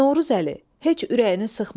Novruzəli, heç ürəyini sıxma.